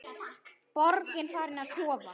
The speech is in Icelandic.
Borgin farin að sofa.